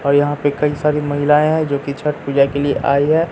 और यहां पे कई सारी महिलाएं हैं जोकि छठ पूजा के लिए आई है।